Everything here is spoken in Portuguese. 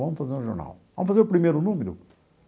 Vamos fazer um jornal vamos fazer primeiro o número.